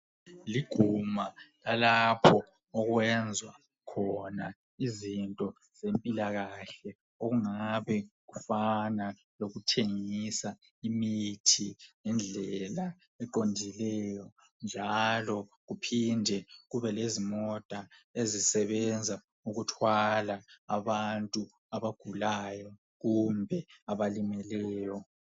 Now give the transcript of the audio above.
Liguma lalapho okwenzwa khona izinto zempilakahle okungabe kufana lokuthengisa imithi ngendlela eqondileyo njalo kuphinde kube lezimota ezisebenza ukuthwala abantu abagulayo kumbe abalimeleyo.